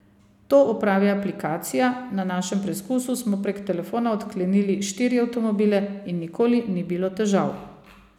To opravi aplikacija, na našem preskusu smo prek telefona odklenili štiri avtomobile in nikoli ni bilo težav.